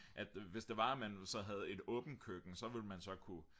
at hvis det var at man så havde et åbent køkken så ville man så kunne